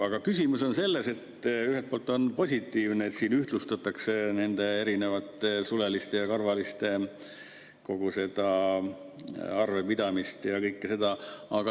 Aga küsimus on selles, et ühelt poolt on positiivne, et siin ühtlustatakse nende erinevate suleliste ja karvaliste kogu seda arvepidamist ja kõike seda.